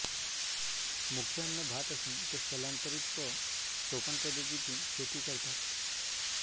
मुख्य अन्न भात असून ते स्थलांतरित व सोपानपद्धतीची शेती करतात